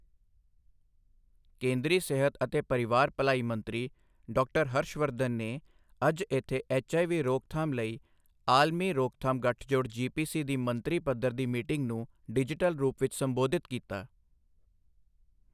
ਕੇਂਦਰੀ ਸਿਹਤ ਅਤੇ ਪਰਿਵਾਰ ਭਲਾਈ ਮੰਤਰੀ ਡਾ. ਹਰਸ਼ ਵਰਧਨ ਨੇ ਅੱਜ ਇਥੇ ਐਚਆਈਵੀ ਰੋਕਥਾਮ ਲਈ ਆਲਮੀ ਰੋਕਥਾਮ ਗੱਠਜੋੜ ਜੀਪੀਸੀ ਦੀ ਮੰਤਰੀ ਪੱਧਰ ਦੀ ਮੀਟਿੰਗ ਨੂੰ ਡਿਜੀਟਲ ਰੂਪ ਵਿੱਚ ਸੰਬੋਧਿਤ ਕੀਤਾ।